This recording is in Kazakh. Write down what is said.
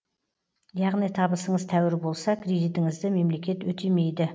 яғни табысыңыз тәуір болса кредитіңізді мемлекет өтемейді